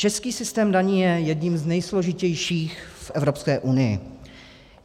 Český systém daní je jedním z nejsložitějších v Evropské unii.